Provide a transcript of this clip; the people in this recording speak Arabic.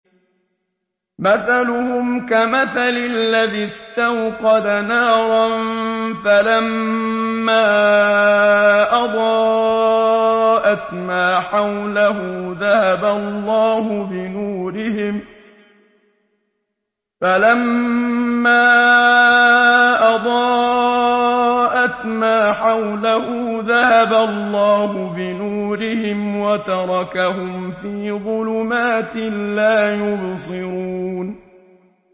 مَثَلُهُمْ كَمَثَلِ الَّذِي اسْتَوْقَدَ نَارًا فَلَمَّا أَضَاءَتْ مَا حَوْلَهُ ذَهَبَ اللَّهُ بِنُورِهِمْ وَتَرَكَهُمْ فِي ظُلُمَاتٍ لَّا يُبْصِرُونَ